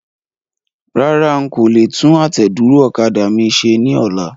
Rárá,n kò le tún àtẹ̀dúró ọ̀kadà mi ṣe ní ọlá.